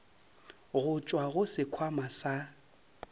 go tšwa go sekhwama sa